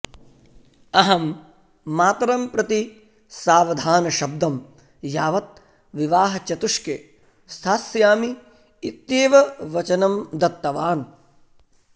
अहं मातरं प्रति सावधानशब्दं यावत् विवाहचतुष्के स्थास्यामि इत्येव वचनं दत्तवान्